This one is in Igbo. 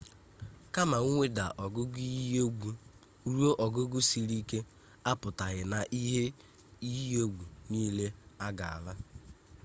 kama mweda nke ogugo iyi egwu ruo ogugo siri ike apụtaghị na ihe iyi egwu nile agaala